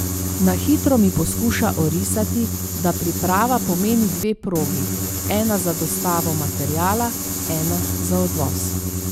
Na hitro mi poskuša orisati, da priprava pomeni dve progi, ena za dostavo materiala, ena za odvoz.